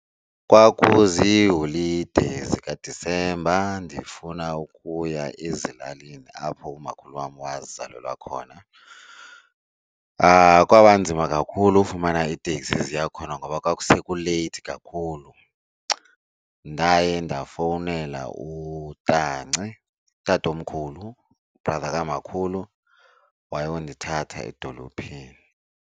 Kwakuziholide zikaDisemba ndifuna ukuya ezilalini apho umakhulu wam wazalelwa khona. Kwaba nzima kakhulu ufumana iteksi eziya khona ngoba kwakusekuleythi kakhulu. Ndaye ndafowunela utanci, utatomkhulu, u-brother kamakhulu wayondithatha edolophini.